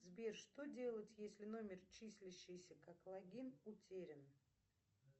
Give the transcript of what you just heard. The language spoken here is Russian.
сбер что делать если номер числящийся как логин утерян